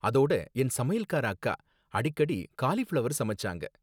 அதோட என் சமையல்கார அக்கா அடிக்கடி காலிஃப்ளவர் சமைச்சாங்க